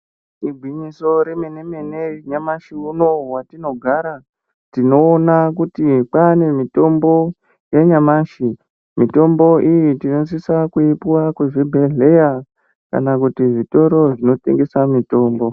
Igwinyiso remene mene nyamashi unou watinogara tinoona kuti kwane mitombo yanyamashi mitombo iyi tinosisa kuipiwa kuzvibhedhleya kana kuti zvitoro zvinotengesa mitombo.